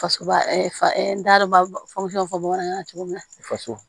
Fasoba fɔ bamanankan na cogo min na faso